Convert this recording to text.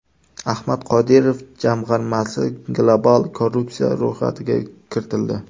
Ahmad Qodirov jamg‘armasi global korrupsiya ro‘yxatiga kiritildi.